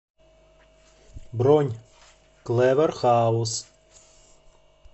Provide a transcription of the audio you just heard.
бронь клэвэр хаус